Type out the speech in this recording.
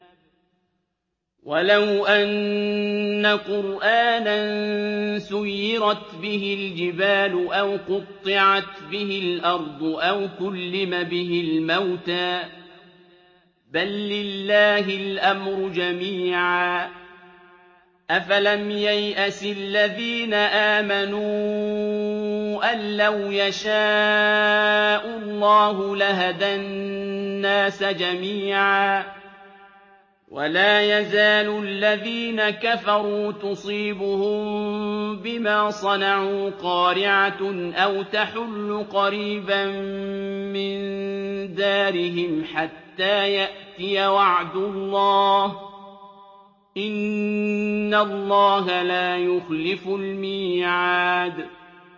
وَلَوْ أَنَّ قُرْآنًا سُيِّرَتْ بِهِ الْجِبَالُ أَوْ قُطِّعَتْ بِهِ الْأَرْضُ أَوْ كُلِّمَ بِهِ الْمَوْتَىٰ ۗ بَل لِّلَّهِ الْأَمْرُ جَمِيعًا ۗ أَفَلَمْ يَيْأَسِ الَّذِينَ آمَنُوا أَن لَّوْ يَشَاءُ اللَّهُ لَهَدَى النَّاسَ جَمِيعًا ۗ وَلَا يَزَالُ الَّذِينَ كَفَرُوا تُصِيبُهُم بِمَا صَنَعُوا قَارِعَةٌ أَوْ تَحُلُّ قَرِيبًا مِّن دَارِهِمْ حَتَّىٰ يَأْتِيَ وَعْدُ اللَّهِ ۚ إِنَّ اللَّهَ لَا يُخْلِفُ الْمِيعَادَ